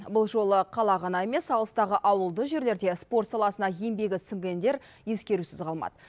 бұл жолы қала ғана емес алыстағы ауылды жерлерде спорт саласына еңбегі сіңгендер ескерусіз қалмады